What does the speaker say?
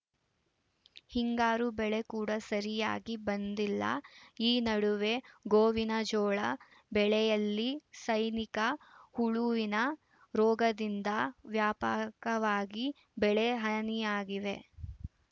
ಹಿಂಗಾರು ಬೆಳೆ ಕೂಡ ಸರಿಯಾಗಿ ಬಂದಿಲ್ಲ ಈ ನಡುವೆ ಗೋವಿನಜೋಳ ಬೆಳೆಯಲ್ಲಿ ಸೈನಿಕ ಹುಳುವಿನ ರೋಗದಿಂದ ವ್ಯಾಪಕವಾಗಿ ಬೆಳೆ ಹನಿಯಾಗಿದೆ